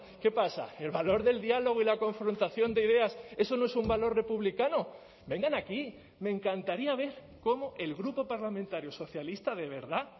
qué pasa el valor del diálogo y la confrontación de ideas eso no es un valor republicano vengan aquí me encantaría ver cómo el grupo parlamentario socialista de verdad